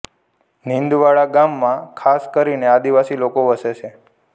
નીંદવાડા ગામમાં ખાસ કરીને આદિવાસી લોકો વસે છે